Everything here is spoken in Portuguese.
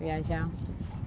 viajar.